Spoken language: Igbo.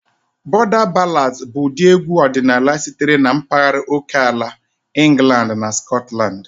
Border ballads bụ ụdị egwu ọdịnala sitere na mpaghara oke ala England na Scotland.